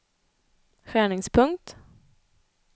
skärningspunkt